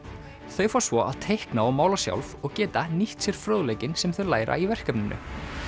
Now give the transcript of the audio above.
þau fá svo að teikna og mála sjálf og geta nýtt sér fróðleikinn sem þau læra í verkefninu